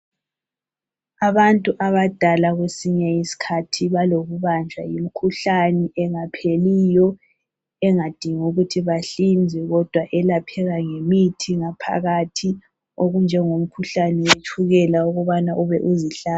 Abantu abadala kwesinye iskhathi balokubanjwa yimkhuhlani engapheliyo, engading' ukuthi bahlinzwe, kodwa elapheka ngemithi ngaphakathi okunjengomkhuhlane wetshukela ukubana ube uzihla ...